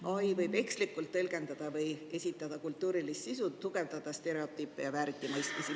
AI võib tõlgendada või esitada kultuurilist sisu ekslikult, tugevdada stereotüüpe ja vääritimõistmisi.